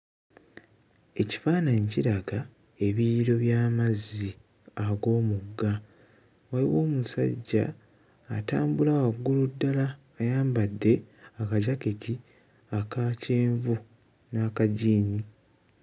Ekifaananyi kiraga ebiyiro by'amazzi ag'omugga wayiwo omusajja atambula waggulu ddala ayambadde akajaketi aka kyenvu n'akajiini.